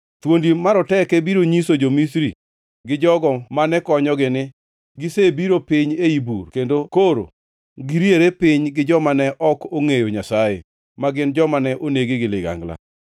Thuondi maroteke biro nyiso jo-Misri gi jogo mane konyogi ni, ‘Gisebiro piny ei bur kendo koro giriere piny gi joma ne ok ongʼeyo Nyasaye, ma gin joma ne onegi gi ligangla.’